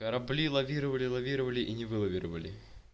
корабли лавировали лавировали и не вылавировали